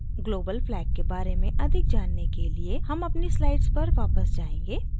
global flag के बारे में अधिक जानने के लिए हम अपनी slides पर वापस जायेंगे